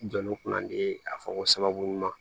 Jɔnni kunna de a fɔ ko sababu ɲuman